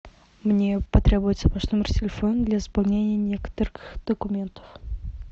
мне потребуется ваш номер телефона для заполнения некоторых документов